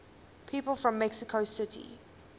people from mexico city